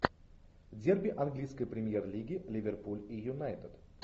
дерби английской премьер лиги ливерпуль и юнайтед